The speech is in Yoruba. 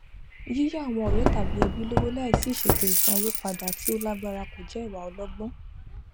yíyà àwọn ọrẹ tàbí ẹbí lọwọ láìsí ìṣètò ìsanwó padà tí ó lágbára kò jẹ ìwà ọlọgbọn